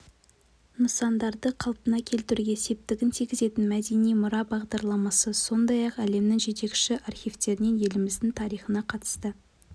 нысандарды қалпына келтіруге септігін тигізген мәдени мұра бағдарламасы сондай-ақ әлемнің жетекші архивтерінен еліміздің тарихына қатысты